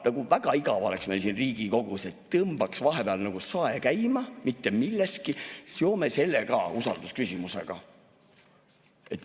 Nagu väga igav oleks meil muidu siin Riigikogus, et tõmbame vahepeal mitte millestki sae käima ja seome usaldusküsimusega.